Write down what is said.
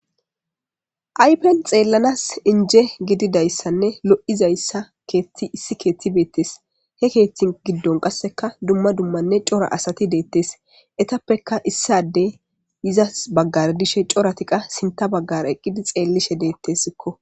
Aypen xeellanas inje gididayssanne lo'izayssa keethti issi keethti beettes he keethtin giddon qasseka dumma dummanne cora asati deettes etappeka issadey izas baggardishe coratiqa sinta baggar eqqidi xeellishe deettessikko.